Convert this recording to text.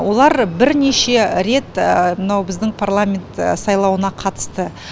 олар бірнеше рет мынау біздің парламент сайлауына қатысты